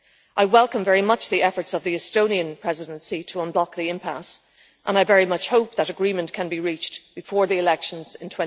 I very much welcome the efforts of the Estonian Presidency to unblock the impasse and I very much hope that agreement can be reached before the elections in